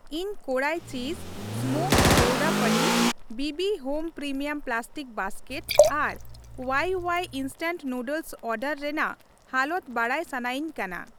ᱤᱧ ᱠᱳᱰᱟᱭ ᱪᱤᱡᱽ smoked gouda ᱯᱚᱱᱤᱨ, ᱵᱤᱵᱤ home premium plastic basket ᱟᱨ ᱳᱣᱟᱭᱳᱣᱟᱭ instant noodles order ᱨᱮᱱᱟᱜ ᱦᱟᱞᱚᱛ ᱵᱟᱰᱟᱭ ᱥᱟᱱᱟᱭᱤᱧ ᱠᱟᱱᱟ ᱾